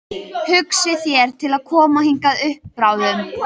Hugsið þér til að koma hingað upp bráðum?